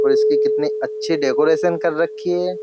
और इसकी कितनी अच्छी डेकोरेशन कर रखी है।